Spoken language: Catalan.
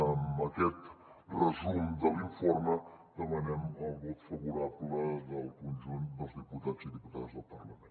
amb aquest resum de l’informe demanem el vot favorable del conjunt dels diputats i diputades del parlament